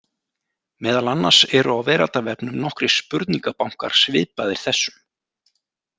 Meðal annars eru á veraldarvefnum nokkrir spurningabankar svipaðir þessum.